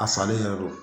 A salen yɛrɛ do